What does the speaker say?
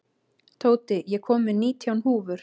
Tóti, ég kom með nítján húfur!